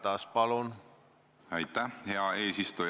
Mis on meie tegevused?